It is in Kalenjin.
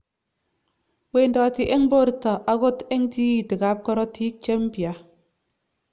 wendoti eng porto angot eng tititig ap korotik chempya